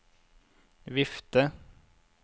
vifte